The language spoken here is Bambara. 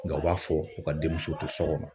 Nka u b'a fɔ u ka denmuso tɛ so kɔnɔ